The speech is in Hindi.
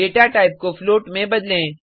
डेटा टाइप को फ्लोट में बदलें